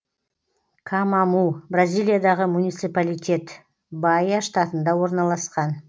камаму бразилиядағы муниципалитет баия штатында орналасқан